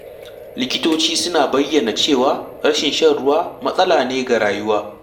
Likitoci suna bayyana cewa rashin shan ruwa matsala ne ga rayuwa.